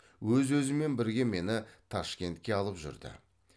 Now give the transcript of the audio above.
өз өзімен бірге мені ташкентке алып жүрді